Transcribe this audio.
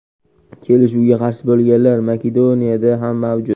Kelishuvga qarshi bo‘lganlar Makedoniyada ham mavjud.